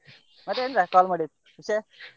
ಮತ್ತೆ ಎಂತ call ಮಾಡಿದ್ದು ವಿಷಯ.